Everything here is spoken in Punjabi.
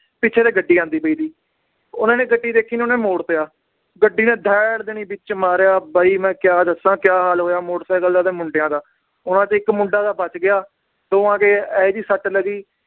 ਪਿੱਛੇ ਤੇ ਗੱਡੀ ਆਂਦੀ ਪਈ ਸੀ ਉਹਨਾਂ ਨੇ ਗੱਡੀ ਦੇਖੀ ਨੀ ਉਹਨਾਂ ਨੇ ਮੋੜਤਾ ਗੱਡੀ ਨੇ ਦੈੜ ਦੇਣੀ ਵਿਚ ਮਾਰਿਆ ਬਾਈ ਮੈ ਕਿਆ ਦੱਸਾਂ ਕਿਆ ਹਾਲ ਹੋਇਆ ਮੋਟਰ ਸਾਇਕਲ ਦਾ ਤੇ ਮੁੰਡਿਆਂ ਦਾ, ਉਹਨਾਂ ਚੋਂ ਇੱਕ ਮੁੰਡਾ ਤਾਂ ਬਚ ਗਿਆ ਦੋਹਾਂ ਦੇ ਇਹੋ ਜੀ ਸੱਟ ਲੱਗੀ